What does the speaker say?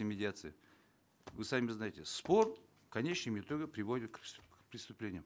медиации вы сами знаете спор в конечном итоге приводит к к преступлениям